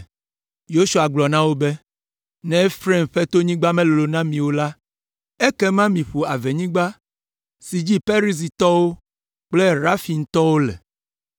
Yosua gblɔ na wo be, “Ne Efraim ƒe tonyigba melolo na mi o la, ekema miƒo avenyigba si dzi Perizitɔwo kple Refaimtɔwo le.”